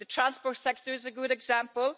The transport sector is a good example.